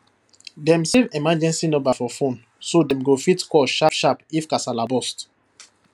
dem save emergency number for phone so dem fit call sharpsharp if kasala burst